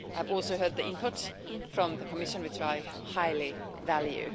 I've also heard the input from the Commission, which I highly value.